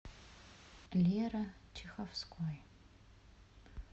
лера чеховской